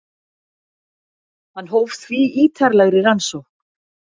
Hann hóf því ítarlegri rannsókn.